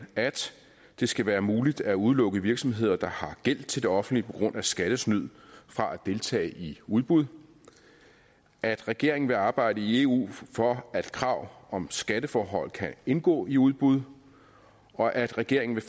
at det skal være muligt at udelukke virksomheder der har gæld til det offentlige på grund af skattesnyd fra at deltage i udbud at regeringen vil arbejde i eu for at krav om skatteforhold kan indgå i udbud og at regeringen vil